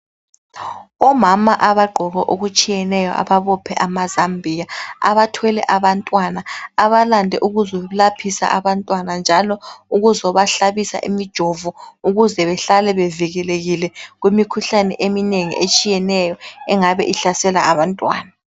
Omama abagqoke okutshiyeneyo ababophe amazambiya, abathwele abantwana abalande ukuzolaphisa abantwana njalo ukuzobahlabisa imijovo ukuze behlale bevikelekile kumikhuhlane eminengi etshiyeneyo engabe ihlasela abantwana.